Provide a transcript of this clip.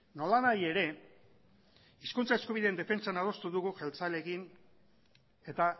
nolanahi ere hizkuntza eskubideen defentsan adostu dugu jeltzaleekin eta